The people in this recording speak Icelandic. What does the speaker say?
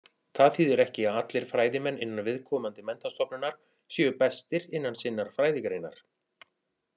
Það þýðir ekki að allir fræðimenn innan viðkomandi menntastofnunar séu bestir innan sinnar fræðigreinar.